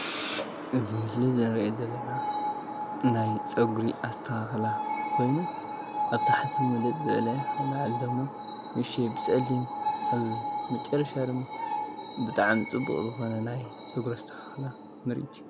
እዚ ኣብ ምስሊ እንሪኦ ዘለና ናይ ፀጉሪ ኣስተካክላ ኮይኑ ኣብ ታሕቲ ምልጥ ዝበለ ኣብ ላዕሊ ደሞ ንእሽተይ ብፀሊም ኣብ መጨረሻ ድማ ብጣዕሚ ፅቡቅ ዝኮና ናይ ፀጉሪ ኣስተካክላ ማለት እዩ፡፡